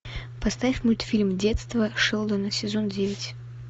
поставь мультфильм детство шелдона сезон девять